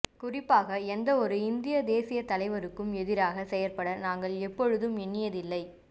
குறிப்பாக எந்தவொரு இந்தியத் தேசியத் தலைவருக்கும் எதிராகச் செயற்பட நாங்கள் எப்பொழுதும் எண்ணியதில்லை